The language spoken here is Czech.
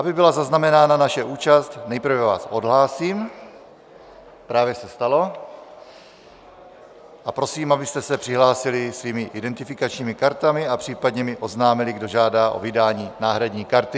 Aby byla zaznamenána naše účast, nejprve vás odhlásím - právě se stalo - a prosím, abyste se přihlásili svými identifikačními kartami a případně mi oznámili, kdo žádá o vydání náhradní karty.